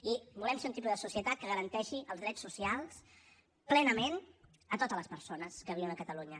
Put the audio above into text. i volem ser un tipus de societat que garanteixi els drets socials plenament a totes les persones que viuen a catalunya